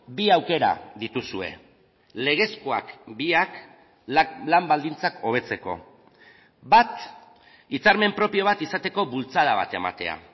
bi aukera dituzue legezkoak biak lan baldintzak hobetzeko bat hitzarmen propio bat izateko bultzada bat ematea